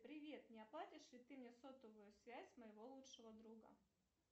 привет не оплатишь ли ты мне сотовую связь моего лучшего друга